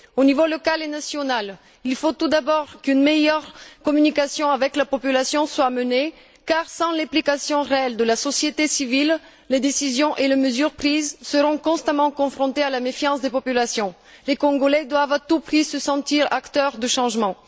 Aux niveaux local et national, il faut tout d'abord qu'une meilleure communication avec la population soit menée, car sans l'implication réelle de la société civile, les décisions et les mesures prises seront constamment confrontées à la méfiance des populations. Les Congolais doivent à tout prix se sentir acteurs du changement.